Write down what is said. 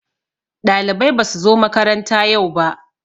Ɗalibai basu zo makaranta yau ba